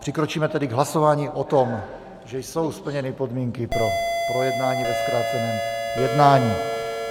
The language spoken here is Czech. Přikročíme tedy k hlasování o tom, že jsou splněny podmínky pro projednání ve zkráceném jednání.